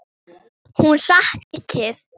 Hún saknar þín mikið.